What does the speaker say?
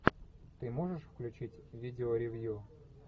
ты можешь включить видеоревью